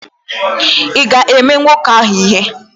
Ị ga-eme nwoke ahụ ihe?